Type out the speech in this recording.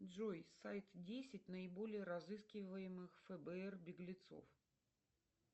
джой сайт десять наиболее разыскиваемых фбр беглецов